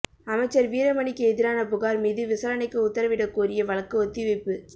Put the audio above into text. அமைச்சர் வீரமணிக்கு எதிரான புகார் மீது விசாரணைக்கு உத்தரவிடக் கோரிய வழக்கு ஒத்தி வைப்பு